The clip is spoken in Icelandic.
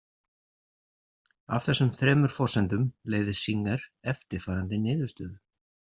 Af þessum þremur forsendum leiðir Singer eftirfarandi niðurstöðu.